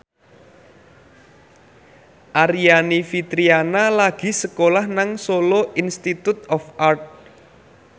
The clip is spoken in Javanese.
Aryani Fitriana lagi sekolah nang Solo Institute of Art